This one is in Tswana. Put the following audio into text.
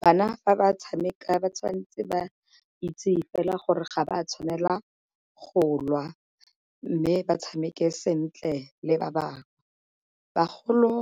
Bana fa tshameka ba tshwanetse ba itse e fela gore ga ba tshwanela go lwa mme ba tshameke sentle le ba bangwe. Bagolo